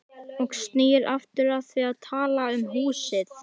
Og snýr aftur að því að tala um húsið.